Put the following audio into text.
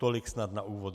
Tolik snad na úvod.